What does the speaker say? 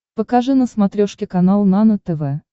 покажи на смотрешке канал нано тв